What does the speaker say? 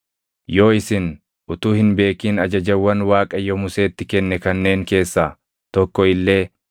“ ‘Yoo isin utuu hin beekin ajajawwan Waaqayyo Museetti kenne kanneen keessaa tokko illee